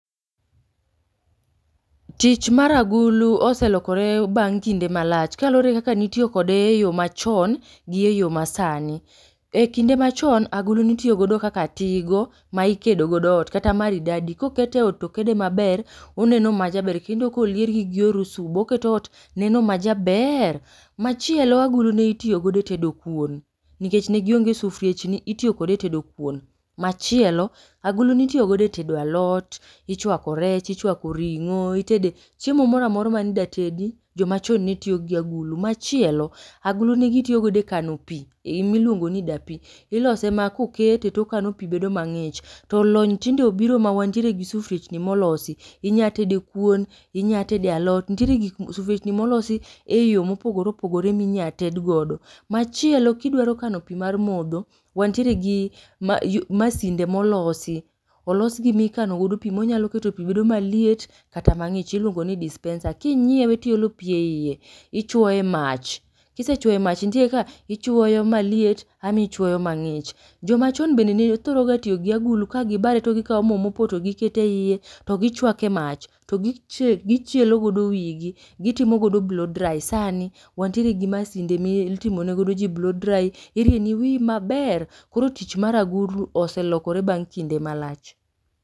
Tich mar agulu oselokore bang' kinde malach. Ka luwore gi kaka ne itiyo kode e yo machon gi e yo masani. E kinde machon agulu nitiyo godo kaka tigo ma ikedo godo ot, kata maridadi. Ka okete e ot to okede maber, oneno majaber kendo ka oliergi gi orusubo, oketo ot neno majaber. Machielo agulu ne itiyo godo e tedo kuon, nikech ne gionge sufriechni itiyo kode e tedo kuon, machielo agulu ne itiyo godo e tedo alot, ichwako rech ichwako ring'o, itede chiemo moro amora mane idwa tedi joma chon ne tiyo gi agulu. Machielo agulu ne gitiyo godo e kano pi ma iluongo ni dapi, ilose ma kokete to okano pi bedo mang'ich. To lony tinde obiro ma wantie gi sufriechni molosi, inya tede kuon, inya tede alot, nitiere gik molo sufriechni ma olosi e yo mopogore opogore ma inya ted godo. Machielo ka idwa kano pi mar modho, wantiere gi mas yu masinde ma olosi, olosgi mikano godo pi monyalo keto pi bedo maliet kata mang'ich iluongo ni dispenser. Kinyiewe to iolo pi e ie ichwoe e mach, kisechwoe e mach nitie kaka ichwoyo maliet ama ichwoyo mang'ich. Jomachon bende ne thoro tiyo gi agulu ka gibare to gikao mopoto giketo e ie, to gichwake mach, to gichi gichielo go wigi, gitimo godo blow dry. Sani wan tiere gi masinde mitimo ne go ji blow dry, irieni wiyi maber. Koro tich mar agulu oselokore bang' kinde malach.